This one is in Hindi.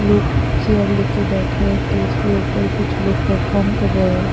लोग चेयर लेकर बैठे हैं स्टेज के ऊपर कुछ लोग परफॉर्म कर रहे हैं।